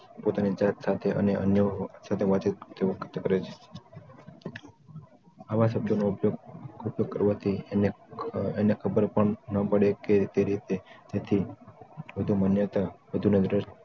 પોતાની જાત સાથે અને અન્ય સાથે વાતચીત તેઓ પ્રત્યે કરે છે આવા શબ્દોનો ઉપયોગ ઉપયોગ કરવાથી એને ખબર પણ ન પડે કે તે રીતે જેથી વધુ માન્યતા વધુ ન ભ્રષ્ટ